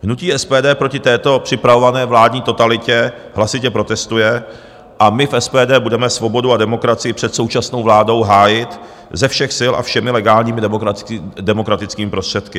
Hnutí SPD proti této připravované vládní totalitě hlasitě protestuje a my v SPD budeme svobodu a demokracii před současnou vládou hájit ze všech sil a všemi legálními demokratickými prostředky.